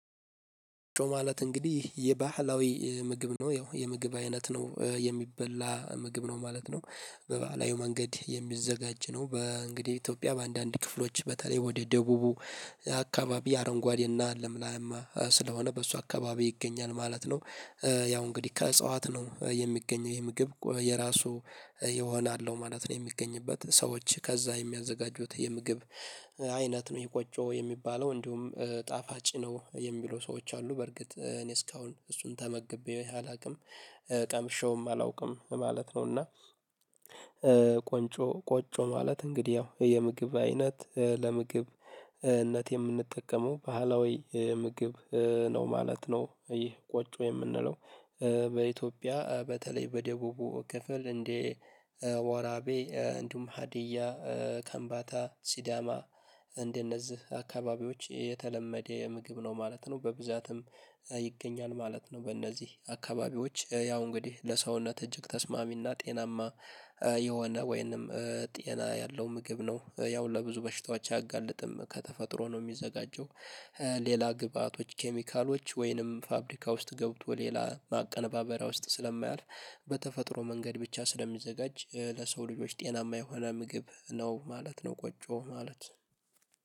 ማለት እንግዲህ የባህላዊ ምግብ ነው ያው የምግብ አይነት ነው የሚበላ ምግብ ነው ማለት ነው። በበአላዊው መንገድ የሚዘጋጅ ነው በእንግዲህ ኢትዮጵያ በአንዳንድ ክፍሎች በተለይ ወደ ደቡቡ አካባቢ አረንጓዴ እና ለምላማ ስለሆነ በሷ አካባቢ ይገኛል ማለት ነው። ያው እንግዲህ ከእጽዋት ነው የሚገኝ የምግብ የራሱ የሆነ አለው ማለት ነው የሚገኝበት ሰዎች ከዛ የሚያዘጋጁት የምግብ አይነት ነው ይሄ ቆጮ የሚባለው እንዲሁም ጣፋጭ ነው የሚለው ሰዎች አሉ በርግጥ እኔ እስካሁን እሱን ተመግቤ አላውቅም። ቀምሼውም አላውቅም ማለት ነው። እና ቆንጮ ቆጮ ማለት እንግዲህ ያው የምግብ አይነት ለምግብነት የምንጠቀመው ባህላዊ ምግብ። ነው ማለት ነው ይህ ቆጭ የምንለው። በኢትዮጵያ በተለይ በደቡቡ ክፍል እንዴ ወራቤ እንዲሁም ሀዲያ ከምባታ ሲዳማ እንደነዚህ አካባቢዎች የተለመደ የምግብ ነው ማለት ነው። በብዛትም ይገኛል ማለት ነው። በእነዚህ አካባቢዎች ያው እንግዲህ ለሰውነት እጅግ ተስማሚና ጤናማ የሆነ ወይንም ጤና ያለው ምግብ ነው ያው ለብዙ በሽታዎች አያጋልጥም ከተፈጥሮ ነው የሚዘጋጀው። ሌላ ግብአቶች ኬሚካሎች ወይንም ፋብሪካ ውስጥ ገብቶ ሌላ ማቀነባበሪያ ውስጥ ስለማያልፍ በተፈጥሮ መንገድ ብቻ ስለሚዘጋጅ ለሰው ልጆች ጤናማ የሆነ ምግብ ነው ማለት ነው። ቆጮ ማለት